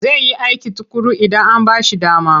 Zai yi aiki tuƙuru idan an ba shi dama.